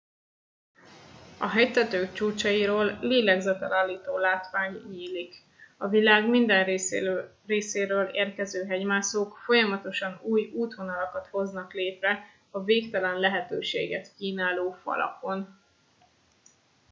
a hegytetők csúcsairól lélegzetellállító látvány nyílik a világ minden részéről érkező hegymászók folyamatosan új útvonalakat hoznak létre a végtelen lehetőséget kínáló falakon